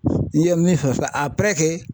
N'i ye min fɔ